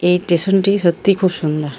এই স্টেশনটি সত্যি খুব সুন্দর ।